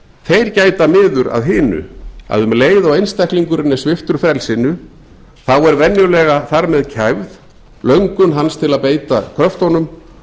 þeir gæta miður að hinu að um leið og einstaklingurinn er sviptur frelsinu þá er venjulega þar með kæfð löngun hans til að beita kröftunum